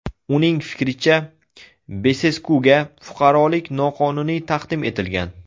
Uning fikricha, Beseskuga fuqarolik noqonuniy taqdim etilgan.